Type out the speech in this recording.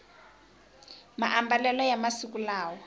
maambalelo ya masiku lawa